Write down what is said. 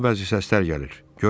Qulağıma bəzi səslər gəlir.